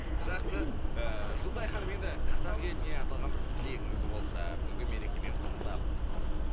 жақсы ыыы жұлдызай ханым енді қазақ еліне арналған бір тілегіңіз болса бүгінгі мерекемен құттықтап